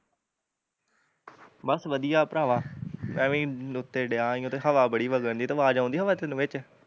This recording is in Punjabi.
ਬਸ ਵਧੀਆ ਓ ਭਰਾਵਾਂ ਮੈਂ ਵੀ ਉੱਤੇ ਡਿਆ ਈ ਓ ਤੇ ਹਵਾ ਵਘਣ ਡਈ, ਤੇ ਆਵਾਜ਼ ਆਉਂਦੀ ਹਵਾ ਦੀ ਤੇਨੂੰ ਵਿੱਚ